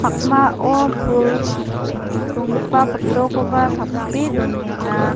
pul donggipa photo-koba tape donenga.